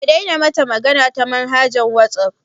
Ka daina mata magana ta manhaja ta wasaf